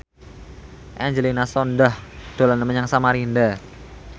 Angelina Sondakh dolan menyang Samarinda